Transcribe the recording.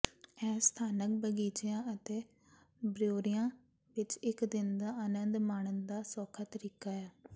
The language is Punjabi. ਇਹ ਸਥਾਨਕ ਬਗੀਚਿਆਂ ਅਤੇ ਬਰਿਊਰੀਆਂ ਵਿਚ ਇਕ ਦਿਨ ਦਾ ਆਨੰਦ ਮਾਣਨ ਦਾ ਸੌਖਾ ਤਰੀਕਾ ਹੈ